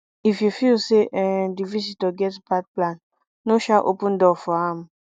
if you feel sey um di visitor get bad plan no um open door for am